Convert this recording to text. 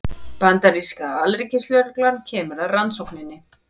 Bandaríska alríkislögreglan kemur að rannsókninni